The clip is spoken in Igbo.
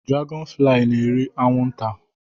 Dragọn fli n'eri anwụ nta